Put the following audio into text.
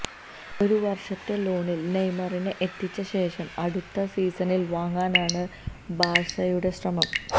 ഒരു വർഷത്തെ ലോണിൽ നെയ്മറിനെ എത്തിച്ച ശേഷം അടുത്ത സീസണിൽ വാങ്ങാനാണ് ബാഴ്സയുടെ ശ്രമം